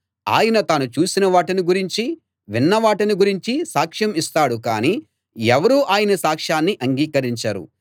ఆయన తాను చూసిన వాటిని గురించీ విన్నవాటిని గురించీ సాక్ష్యం ఇస్తాడు కానీ ఎవరూ ఆయన సాక్షాన్ని అంగీకరించరు